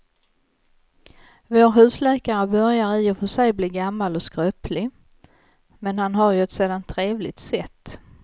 Vår husläkare börjar i och för sig bli gammal och skröplig, men han har ju ett sådant trevligt sätt!